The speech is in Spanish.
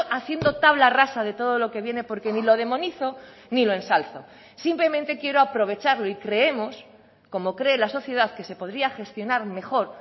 haciendo tabla rasa de todo lo que viene porque ni lo demonizo ni lo ensalzo simplemente quiero aprovecharlo y creemos como cree la sociedad que se podría gestionar mejor